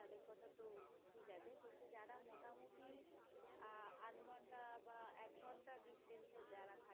আধ ঘন্টা বা এক ঘন্টা distance এ যারা থা